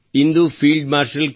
into field marshal K